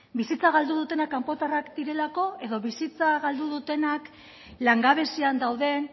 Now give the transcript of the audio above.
bizitza galdu dutenak kanpotarrak direlako edo bizitza galdu dutenak langabezian dauden